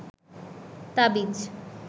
তাবিজ